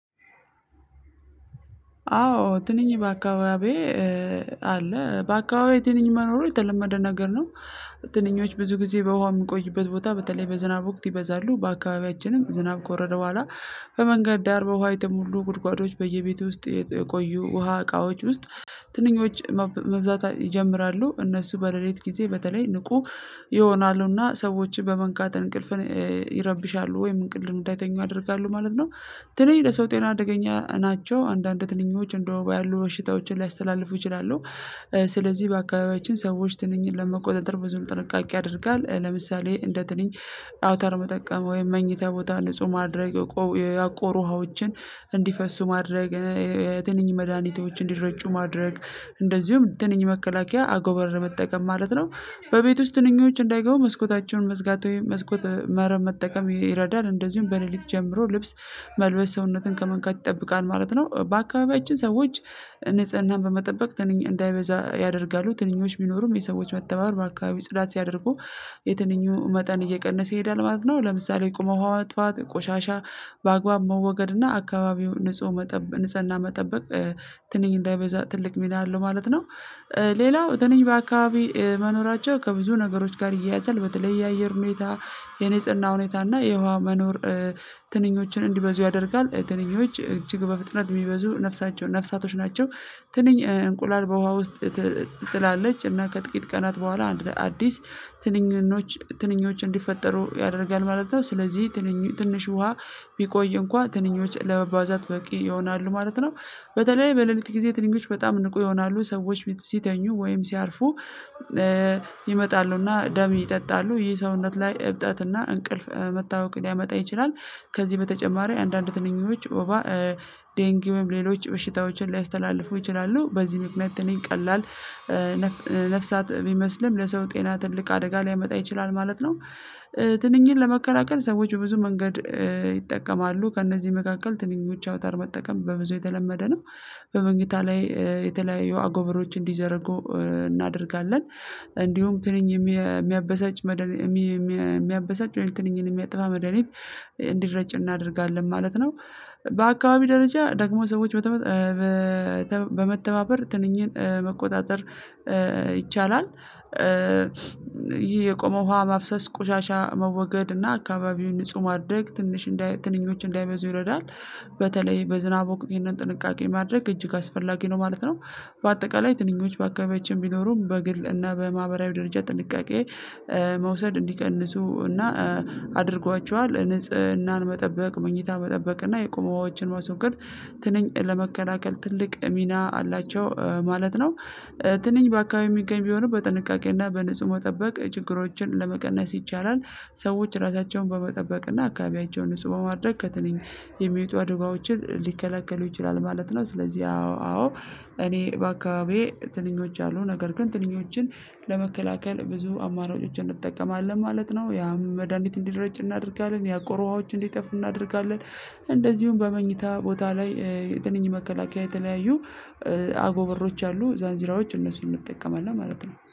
አዎ ትንኝ በአካባቢዬ አለ በአካባቢዬ ትንኝ መኖሩ የተለመደ ነገር ነው። ትንኞች ብዙ ጊዜ በውሃ የሚቆይበት ቦታ በተለይ በዝናብ ወቅት ይበዛሉ በአካባቢያችንም ዝናብ ከወረደ በኋላ። በመንገድ ዳር በውሃ የተሞሉ ጉድጓዶች በየቤቱ ውስጥ የቆዩ ውሃ እቃዎች ውስጥ ትንኞች መብዛት ይጀምራሉ እነሱ በሌሊት ጊዜ በተለይ ንቁ ይሆናሉና ሰዎችን በመንካት እንቅልፍ ይረብሻሉ ወይም እንቅልፍ እንዳይተኙ አደርጋለሁ ማለት ነው። ትንኝ ለሰው ጤና አደገኛ ናቸው አንዳንድ ትንኞች እንደ ወባ ያሉ ሽታዎችን ሊያስተላልፉ ይችላሉ። ስለዚህ በአካባቢያችን ሰዎች ትንኝን ለመቆጣጠር ብዙ ጥንቃቄ ያደርጋል። ለምሳሌ እንደ ትንንሽ አውታር መጠቀም ወይም መኝታ ቦታ ንጹህ ማድረግ። ያቆሩ ውሃዎችን እንዲፈሱ ማድረግ የትንኝ መድኃኒቶች እንዲረጩ ማድረግ እንደዚሁም ትንኝ መከላከያ አጎበረ መጠቀም ማለት ነው። በቤት ወስጥ ትንኞች እንዳይገቡ መስኮታቸውን መዝጋት ወይም መስኮት መረብ መጠቀም ይረዳል እንደዚሁም በሌሊት ጀምሮ ልብስ መልበስ ሰውነትን ከመንካት ይጠብቃል ማለት ነው። በአካባቢያችን ሰዎች ንጽህናን በመጠበቅ ትንኝ እንዳይበዛ ያደርጋሉ ትንኞች ቢኖሩም የሰዎች መተባበር በአካባቢ ጽዳት ሲያደርጉ የትንኙ መጠን እየቀነሰ ይሄዳል ማለት ነው። ለምሳሌ የቆመው ሀዋ ጠዋት ቆሻሻ በአግባብ መወገድ እና አካባቢው ንጹህ መጠበቅ ንጽህና መጠበቅ ትንኝ እንዳይበዛ ትልቅ ሚላ አለው ማለት ነው። ሌላው ትንኝ በአካባቢ መኖራቸው ከብዙ ነገሮች ጋር እየያዘል በተለይ የአየር ሁኔታ የንጽህና ሁኔታ እና የውሃ መኖር። ትንኞችን እንዲበዙ ያደርጋል ትንኞች እጅግ በፍጥነት የሚበዙ ነፍሳቶች ናቸው። ትንኝ እንቁላል በውሃ ውስጥ ትላለች እና ከጥቂት ቀናት በኋላ አንድ ለአዲስ ትንኞች ትንኞች እንዲፈጠሩ ያደርጋል ማለት ነው። ስለዚህ ትንሽ ውሃ ቢቆይ እንኳን ትንኞች ለመባዛት በቂ ይሆናሉ ማለት ነው። በተለይ በሌሊት ጊዜ ትንኞች በጣም ንቁ ይሆናሉ ሰዎች ሲተኙ ወይም ሲያርፉ ይመጣሉና ደም ይጠጣሉ ይህ ሰውነት ላይ እብጠትና እንቅልፍ መታወክ ሊያመጣ ይችላል። ከዚህ በተጨማሪ አንዳንድ ትንኞች ወባ ዴንጊውም ሌሎች በሽታዎችን ሊያስተላልፉ ይችላሉ በዚህ ምክንያት እኔን ቀላል ነፍሳት የሚመስልም ለሰው ጤና ትልቅ አደጋ ሊያመጣ ይችላል ማለት ነው። ትንኝን ለመከላከል ሰዎች ብዙ መንገድ ከእነዚህ መካከል የትንኝወች አውታር መጠቀም በብዙ የተለመደ ነው። በመኝታ ላይ የተለያየ አጎበሮች እንዲዘረጉ እናደርጋለን እንዲሁም ትንኝ የሚያበሳጭ መደል የሚያበሳጭ ወይንም ትንኝን የሚያጠፋ መድሃኒት እንዲረጭ እናደርጋለን ማለት ነው። በአካባቢ ደረጃ ደግሞ ሰዎች በመተባበር ትንኝን መቆጣጠር ይቻላል። ይሄ የቆመው ውሃ ማፍሰስ ቆሻሻ መወገድ እና አካባቢውን ንጹህ ማድረግ ትንሽ እንዳይ እንዳይበዙ ይረዳል። በተለይ በዝናብ ወቅት ይሄንን ጥንቃቄ ማድረግ እጅግ አስፈላጊ ነው ማለት ነው። በአጠቃላይ ትንኝንወች በአካባቢያችን ቢኖሩም በግል እና በማህበራዊ ደረጃ ጥንቃቄ መውሰድ እንዲቀንሱ እና አድርጓቸዋል ንጽህናን መጠበቅ መኝታ መጠበቅ እና የቆሙ ውሃወችን ማስወገድ ትንኝን ለመከላከል ትልቅ ሚና አላቸው ማለት ነው። ትንኝን በአካባቢው የሚገኝ ቢሆንም በጥንቃቄና በንጹህ መጠበቅ ችግሮችን ለመቀነስ ይቻላል። ሰዎች ራሳቸውን በመጠበቅና አካባቢያቸውን ንጹህ ማድረግ ከትንኞቹ የሚወጡ አድጋዎችን ሊከለከሉ ይችላሉ ማለት ነው። ስለዚህ አዎ አዎ እኔ በአካባቢዬ ትንኞች አሉ ነገር ግን ትንኞችን ለመከላከል ብዙ አማራጮችን እንጠቀማለን ማለት ነው። ያም መድሃኒት እንዲረጭ እናደርጋለን ያቆሩ ውሃወች እንዲጠፉ እናደርጋለን። እንደዚሁም በመኝታ ቦታ ላይ የትንኝ መከላከያ የተለያዩ አጎበሮች አሉ ዛንዚራዎች እነሱን እንጠቀማለን ማለት ነው